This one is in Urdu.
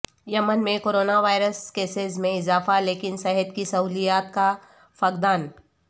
یمن میں کرونا وائرس کیسز میں اضافہ لیکن صحت کی سہولیات کا فقدان